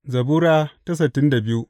Zabura Sura sittin da biyu